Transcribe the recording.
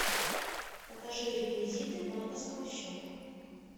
покажи реквизиты банковского счета